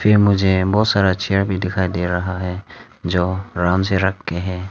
मुझे बहुत सारा चेयर भी दिखाई दे रहा है जो आराम से रख के है।